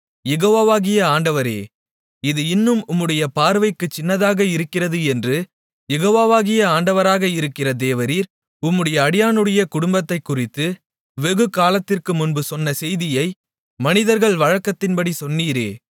யெகோவாவாகிய ஆண்டவரே இது இன்னும் உம்முடைய பார்வைக்குச் சின்னதாக இருக்கிறது என்று யெகோவாவாகிய ஆண்டவராக இருக்கிற தேவரீர் உம்முடைய அடியானுடைய குடும்பத்தைக்குறித்து வெகுகாலத்திற்குமுன்பு சொன்ன செய்தியை மனிதர்கள் வழக்கத்தின்படி சொன்னீரே